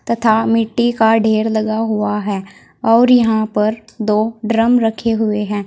तथा मिट्टी का ढेर लगा हुआ है और यहां पर दो ड्रम रखे हुए हैं।